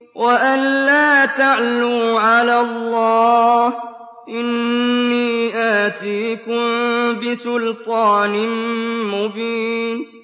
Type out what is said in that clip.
وَأَن لَّا تَعْلُوا عَلَى اللَّهِ ۖ إِنِّي آتِيكُم بِسُلْطَانٍ مُّبِينٍ